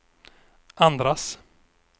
andras